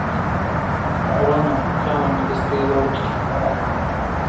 рона порхала не быстрее бабочки